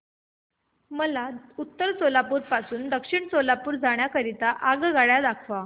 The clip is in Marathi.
मला उत्तर सोलापूर पासून दक्षिण सोलापूर जाण्या करीता आगगाड्या दाखवा